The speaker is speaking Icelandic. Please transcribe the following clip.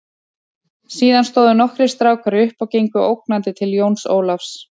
Síðan stóðu nokkrir strákar upp og gengu ógnandi til Jóns Ólafs.